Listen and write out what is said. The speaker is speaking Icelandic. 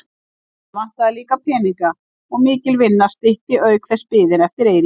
Hana vantaði líka peninga og mikil vinna stytti auk þess biðina eftir Eiríki.